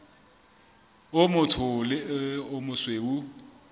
o motsho le o mosweu